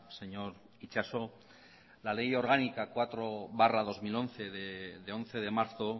señor itxaso la ley orgánica cuatro barra dos mil once de once de marzo